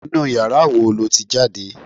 Inú yàrá wo lo ti jáde